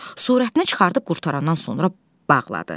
Surətini çıxarıb qurtarandan sonra bağladı.